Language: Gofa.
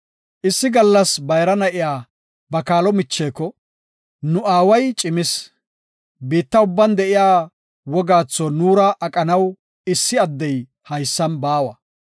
Issi gallas bayra na7iya ba kaalo micheko, “Nu aaway cimis, biitta ubban de7iya wogaatho nuura aqanaw issi addey haysan baawa.